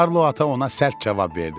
Karlo ata ona sərt cavab verdi.